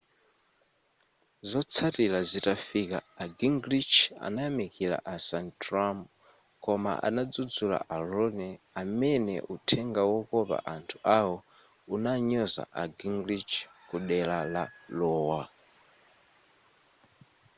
zotsatira zitafika a gingrich anayamikila a santorum koma anadzudzula a romney amene uthenga wokopa anthu awo unanyoza a gingrich ku dera la iowa